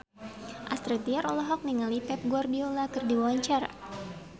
Astrid Tiar olohok ningali Pep Guardiola keur diwawancara